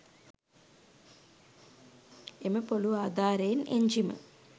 එම පොලූ ආධාරයෙන් එන්ජිම